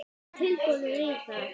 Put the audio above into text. Eruð þið tilbúnir í það?